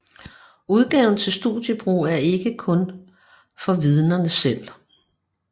Udgaven til studiebrug er ikke kun for Vidnerne selv